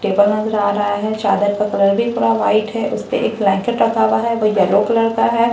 table नजर आ रहा है चादर का कलर भी पूरा व्हाइट है उसपे एक ब्लैंकेट रखा हुआ है वो येलो कलर का है औ --